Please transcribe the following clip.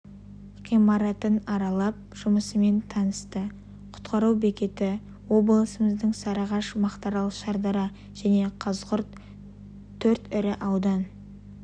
ғимаратын аралап жұмысымен танысты құтқару бекеті облысымыздың сарыағаш мақтаарал шардара және қазығұрт төрт ірі аудан